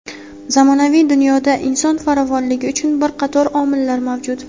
Zamonaviy dunyoda inson farovonligi uchun bir qator omillar mavjud.